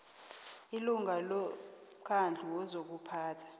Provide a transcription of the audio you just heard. ilunga lomkhandlu wezokuphatha